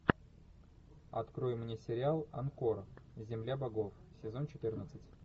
открой мне сериал анкор земля богов сезон четырнадцать